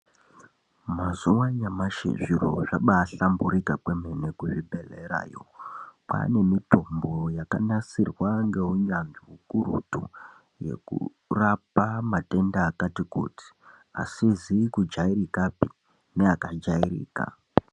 Mazuwa anyamushi zviro zvabahlamburika kwemene kuzvibhedhlerayo kwaane mitomno yakanasirwa ngeunyañzvi ukurutu ukuràpa matenda akati kuti asizi kujairika neaka jairika.